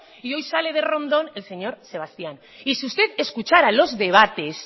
y hoy sale de rondón el señor sebastián y si usted escuchara los debates